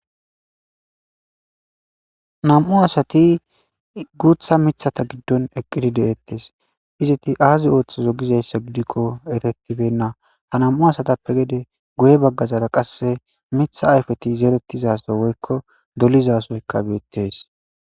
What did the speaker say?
nam7u asati guutha mithata giddon eqqidi deettes iziti aazi ooththozo gizayssa gidikko efetibenna ha nam7u asatappe gede goye baggazara qasse mitha ayfeti zeerettizasa woykko dolizasoyka beettes